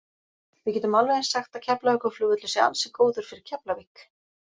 Við getum alveg eins sagt að Keflavíkurvöllur sé ansi góður fyrir Keflavík.